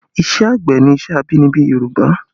Ìṣe àgbẹ̀ ni iṣẹ́ abínibí Yorùbá